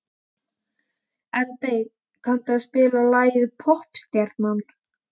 Eldey, kanntu að spila lagið „Poppstjarnan“?